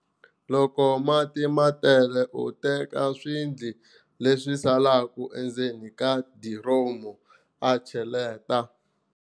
Loko mati ma tele u teka swidli leswi saleke endzeni ka diromu a cheletela